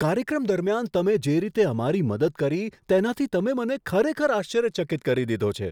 કાર્યક્રમ દરમિયાન તમે જે રીતે અમારી મદદ કરી તેનાથી તમે મને ખરેખર આશ્ચર્યચકિત કરી દીધો છે!